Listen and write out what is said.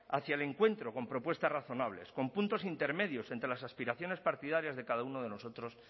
hacia el encuentro con propuestas razonables con puntos intermedios entre las aspiraciones partidarias de cada uno de nosotros